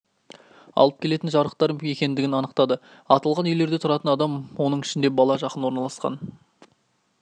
алып келетін жарықтар бар екендігін анықтады аталған үйлерде тұратын адам оның ішінде бала жақын орналасқан